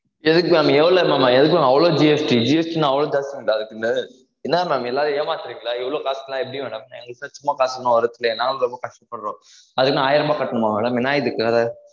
எதுக்கு maam எவ்ளோ maam எதுக்கு maam அவ்ளோ GST னா அவ்ளோ tax ஆ அதுக்குனு என்னா maam எல்லாரையும் ஏமாத்துரிங்களா இவ்ளோ cost லாம் எப்படி madam சும்மா காசு ஒண்ணும் வரது இல்லையே நாங்களும் ரொம்ப கஷ்டப்படுறோம் அதுக்குனு ஆயிர ரூபா கட்டனுமா madam என்ன இதுக்கு